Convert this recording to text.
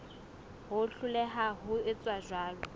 ho hloleha ho etsa jwalo